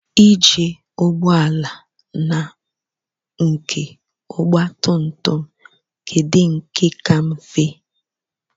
Ije ụgbọala na nke ogba tum tum kedụ nke ka mfe?